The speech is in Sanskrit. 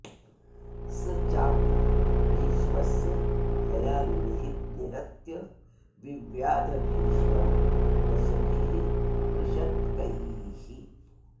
स चापि भीष्मस्य हयान्निहत्य विव्याध भीष्मं दशभिः पृषत्कैः